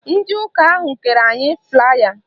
Ndị ụka ahụ kere anyị flaaya